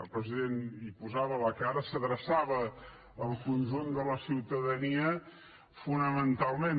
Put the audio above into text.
el president hi posava la cara s’adreçava al conjunt de la ciutadania fonamentalment